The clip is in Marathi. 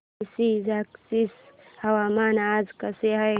पळशी झाशीचे हवामान आज कसे आहे